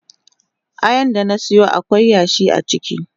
Ayan da na siyo akwai yashi a ciki.